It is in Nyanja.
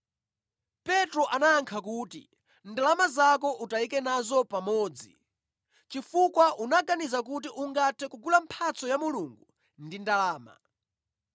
Petro anayankha kuti, “Ndalama zako utayike nazo pamodzi, chifukwa unaganiza kuti ungathe kugula mphatso ya Mulungu ndi ndalama!